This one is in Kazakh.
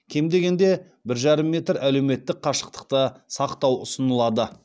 кем дегенде бір жарым метр әлеуметтік қашықтықты сақтау ұсынылады